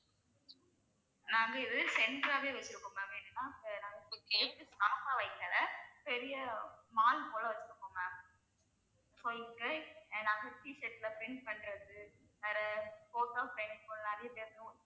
நாங்க இதை, center ஆவே வச்சிருக்கோம் ma'am வைக்கல பெரிய mall போல வச்சுருக்கோம் ma'am so இங்க நான் T shirt ல print பண்றது வேற photo frame